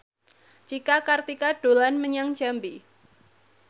Cika Kartika dolan menyang Jambi